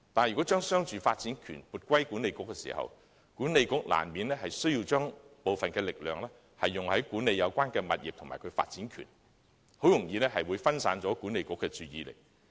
然而，將商住發展權撥歸西九管理局後，西九管理局難免需要將部分力量用於管理有關物業及其發展權，很容易會分散了其注意力。